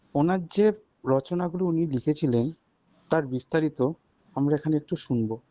ওনার যে রচনা গুলি উনি লিখেছিলেন তার বিস্তারিত আমারা এখানে একটু শুনব